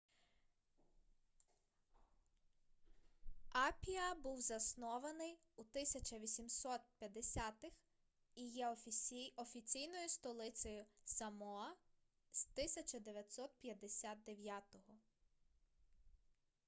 апіа був заснований у 1850-х і є офіційною столицею самоа з 1959